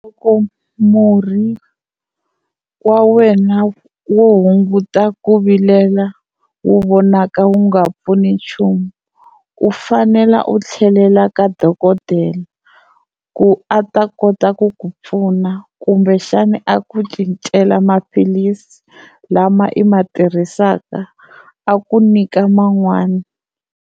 Loko murhi wa wena wo hunguta ku vilela wu vonaka wu nga pfuni nchumu u fanela u tlhelela ka dokodela ku a ta kota ku ku pfuna kumbexani a ku cincela maphilisi lama i ma tirhisaka a ku nyika man'wani.